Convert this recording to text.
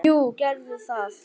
Jú, gerðu það!